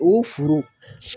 O foro